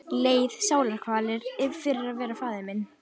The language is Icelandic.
Leið sálarkvalir fyrir að vera faðir minn.